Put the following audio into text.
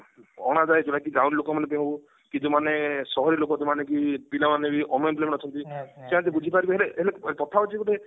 ଯୋଉ ମାନେ କି ଗାଉଁଲି ଲୋକମାନେ ହଉ କି ଯୋଉ ସହରୀ ଲୋକମାନେ ବି ପିଲାମାନେ ବି unemployment ଅଛନ୍ତି ସେମାନେ ବୁଝି ପାରିବେ ହେଲେ ହେଲେ କଥା ହଉଛି ଗୋଟେ